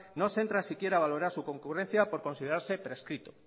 no se entra siquiera a valorar su concurrencia por considerarse prescrito